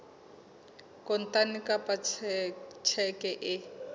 kontane kapa ka tjheke e